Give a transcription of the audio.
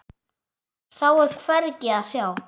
Þá er hvergi að sjá.